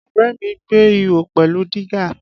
Ọ̀rẹ́ mi gbẹ́ ihò pẹ̀lú dígà